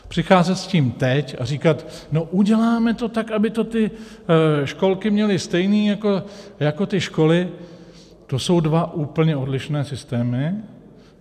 Přicházet s tím teď a říkat "no uděláme to tak, aby to ty školky měly stejný jako ty školy" - to jsou dva úplně odlišné systémy.